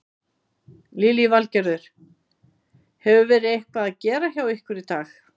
Lillý Valgerður: Hefur verið eitthvað að gera hjá ykkur í dag?